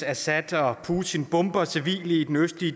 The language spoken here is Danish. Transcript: retssager nu